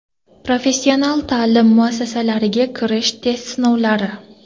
Professional ta’lim muassasalariga kirish test sinovlari.